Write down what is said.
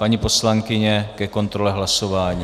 Paní poslankyně ke kontrole hlasování.